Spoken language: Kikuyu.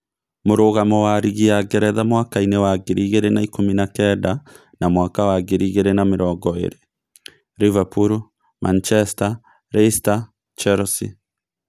Mũrũgamo wa rigi ya Ngeretha mwakainĩ wa ngiri igĩrĩ na ikũmi na kenda na mwaka wa ngiri igĩrĩ na mĩrongo ĩrĩ: Rivapulu, Manichesita, Rasieta, Cherosi.